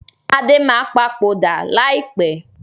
Adé máa papòdà lai pẹ̀